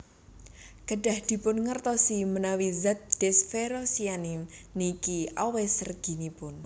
Kedah dipun ngertosi menawi zat desferoxamine niki awis reginipun